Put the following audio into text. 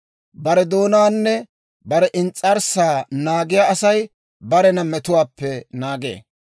Bare doonaanne bare ins's'arssaa naagiyaa Asay barena metuwaappe naagee.